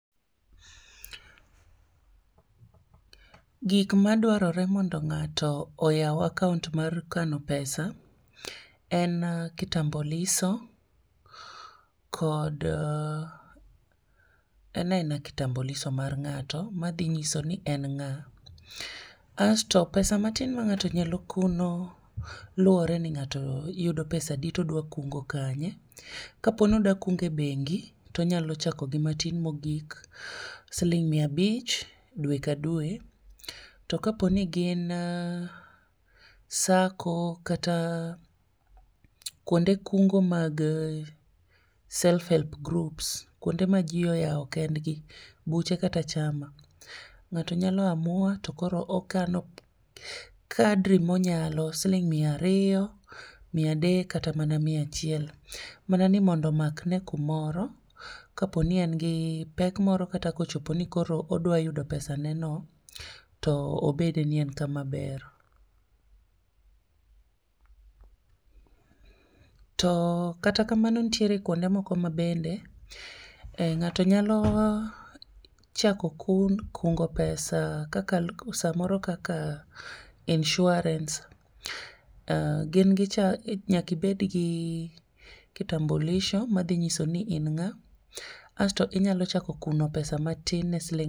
gik madwarore mondo ng'ato oyaw akaont mar kano pesa, en kitamboliso, kod, en aena kitambuliso mar ng'ato madhi ng'iso ni en ng'a. Asto pesa matin ma ng'ato nyalo kuno, luwore ni ng'ato yudo pesadi todwa kungo kanye. Kaponi odwa kuno e bengi, tonyalo chako gi matin mogik, siling' mia abich dwe ka dwe, to kaponi gin SACCO kata, kwonde kungo mag self help groups kwonde ma jii oyaw kend gi. Buche kata chama. Ng'ato nyalo amua to koro okano kadri monyalo siling' mia ariyo, mia adek, kata mana mia achiel. Mana ni mondo omakne kumoro, kaponi en gi pek moro kata kochopo ni koro odwa yudo pesane no, to obede ni en kamaber to kata kamano nitiere kwonde moko ma bende um ng'ato nyalo chako kun kungo pesa kaka samoro kaka insurance um gin gicha nyaki ibed gi kitambulisho madhinyiso ni in ng'a. Asto inyalo chako kuno pesa matin ne siling'